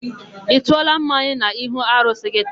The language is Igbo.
Ị tụọla mmanya n'ihu arụsị gị taa?